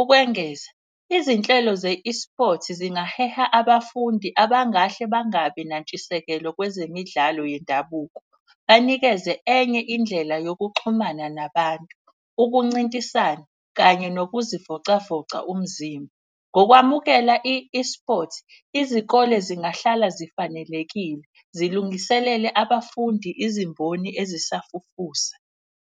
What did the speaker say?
Ukwengeza izinhlelo ze-eSports zingaheha abafundi abangahle bangabi nantshisekelo kwezemidlalo yendabuko. Banikeze enye indlela yokuxhumana nabantu, ukuncintisana kanye nokuzivocavoca umzimba. Ngokwamukela i-eSports, izikole zingahlala zifanelekile zilungiselele abafundi izimboni ezisafufusa.